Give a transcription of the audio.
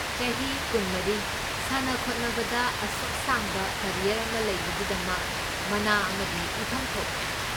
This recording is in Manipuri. ꯆꯍꯤ ꯀꯨꯟꯃꯔꯤ.. ꯁꯥꯟꯅ ꯈꯣꯠꯅꯕꯗ ꯑꯁꯨꯛ ꯁꯥꯡꯕ ꯀꯔꯤꯌꯔ ꯑꯃ ꯂꯩꯕꯒꯤꯗꯃꯛ ꯃꯅꯥ ꯑꯃꯗꯤ ꯄꯤꯐꯝ ꯊꯣꯛꯄꯅꯤ꯫